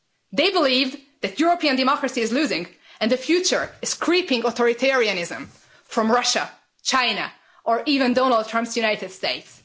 They believe that European democracy is losing and the future is creeping authoritarianism from Russia, China or even Donald Trump's United States.